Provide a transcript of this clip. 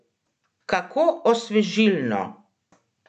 Kako osvežilno!